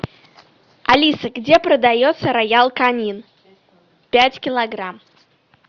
алиса где продается роял канин пять килограмм